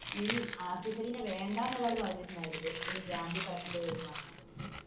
ഈ ആസിഫലിയെ വേണ്ടാ എന്ന് ഒരാൾ പറഞ്ഞിട്ടുണ്ടായിരുന്നില്ലേ